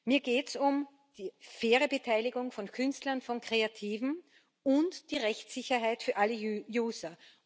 Mir geht es um die faire Beteiligung von Künstlern, von Kreativen und die Rechtssicherheit für alle User.